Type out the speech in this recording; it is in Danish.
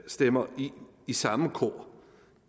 stemmer i i samme kor